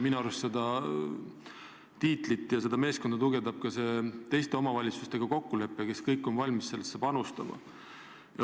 Minu arust tugevdab kogu sellega seotud meeskonda ka kokkulepe teiste omavalitsustega, kes kõik on valmis ettevõtmisse panustama.